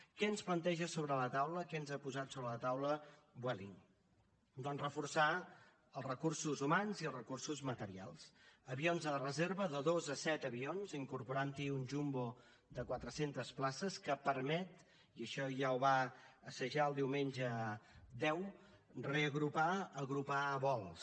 què ens planteja sobre la taula què ens ha posat sobre la taula vueling doncs reforçar els recursos humans i els recursos materials avions de reserva de dos a set avions incorporant hi un jumbo de quatre centes places que permet i això ja ho va assajar el diumenge deu reagrupar agrupar vols